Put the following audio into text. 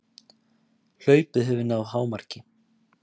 Hlaupið hefur náð hámarki